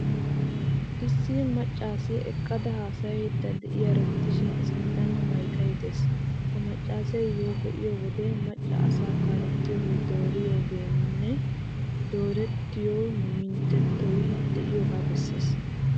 Issi maccaasiyaa eqqada haasayaydda de'iyaaro gidishin,I sinttan maykee de'ees. Ha maccaasiyoo be'iyo wode macca asay kaalettiyoogee, dooriyoonne doorettiyoo minotettay, de'iyoogaa bessees.